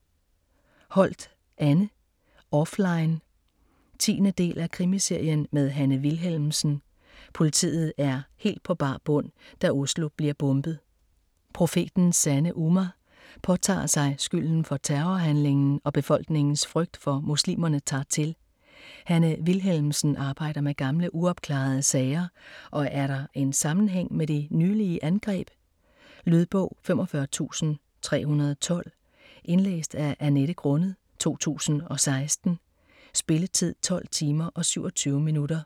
Holt, Anne: Offline 10. del af Krimiserien med Hanne Wilhelmsen. Politiet er helt på bar bund, da Oslo bliver bombet. Profetens Sande Ummah påtager sig skylden for terrorhandlingen og befolkningens frygt for muslimerne tager til. Hanne Wilhelmsen arbejder med gamle uopklarede sager og er der en sammenhæng med de nylige angreb? Lydbog 45312 Indlæst af Annette Grunnet, 2016. Spilletid: 12 timer, 27 minutter.